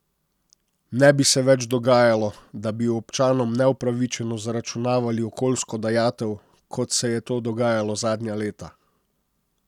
Ne bi se več dogajalo, da bi občanom neupravičeno zaračunavali okoljsko dajatev, kot se je to dogajalo zadnja leta.